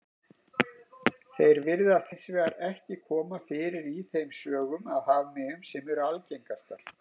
Þeir virðast hins vegar ekki koma fyrir í þeim sögum af hafmeyjum sem eru algengastar.